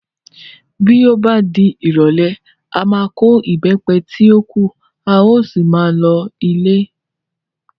Bí ó bá di ìrọ̀lẹ́, a máa kó Ìbẹ́pẹ tí ó kù, a ó sì máa lọ ilé.